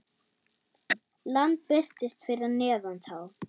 Land birtist fyrir neðan þá.